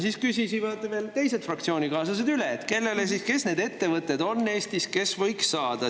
Siis küsisivad veel teised fraktsioonikaaslased üle, kes need ettevõtted on Eestis, kes võiks saada.